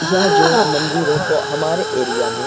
यह जो मंदिर है ब हमारे एरिया में --